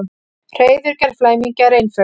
Hreiðurgerð flæmingja er einföld.